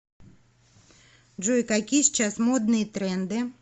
джой какие сейчас модные тренды